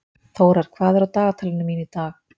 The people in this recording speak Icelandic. Þórar, hvað er á dagatalinu mínu í dag?